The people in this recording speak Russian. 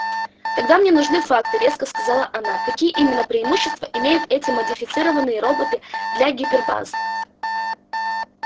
тогда мне нужны факты резко сказала она какие именно преимущества имеют эти модифицированные роботы для гипербазы